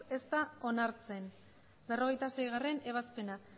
ez da onartzen berrogeita seigarrena ebazpena